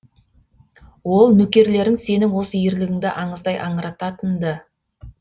ол нөкерлерің сенің осы ерлігіңді аңыздай аңырататын ды